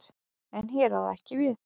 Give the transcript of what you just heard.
En hér á það ekki við.